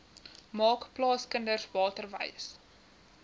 maak plaaskinders waterwys